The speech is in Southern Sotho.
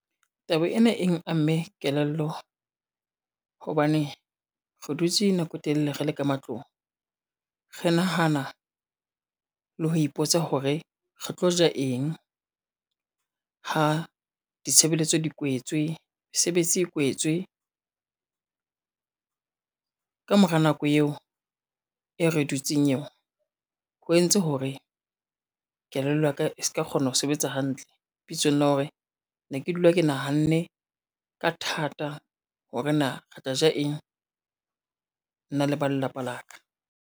Taba ena eng amme kelello, hobane re dutse nako e telele re le ka matlong. Re nahana le ho ipotsa hore re tlo ja eng, ha ditshebeletso di kwetswe, mesebetsi e kwetswe. Ka mora nako eo e re dutseng eo, ho entse hore kelello ya ka e ska kgona ho sebetsa hantle bitsong la hore ne ke dula ke nahanne ka thata hore na re tla ja eng, nna le ba lelapa la ka.